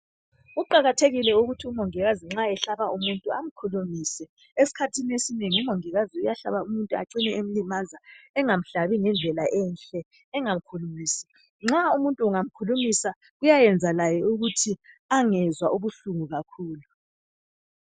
Kuqakathekile ukuthi umongikazi nxa ehlaba umuntu amkhulumise eskhathini esinengi umongikazi uyahlaba umuntu acine emlimaza engamhlabi ngendlela enhle engamkhulumisi. Nxa umuntu ungamkhulumisa kuyayenza laye ukuthi angezwa ubuhlungu kakhulu.